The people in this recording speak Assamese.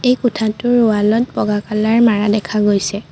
এই কোঠাটোৰ ৱাল ত বগা কালৰ মাৰা দেখা গৈছে।